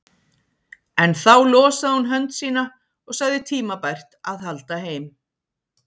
En þá losaði hún hönd sína og sagði tímabært að halda heim.